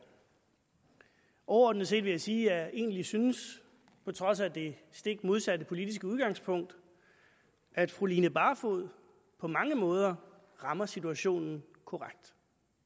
overordnet set vil jeg sige at jeg egentlig synes på trods af det stik modsatte politiske udgangspunkt at fru line barfod på mange måder rammer situationen korrekt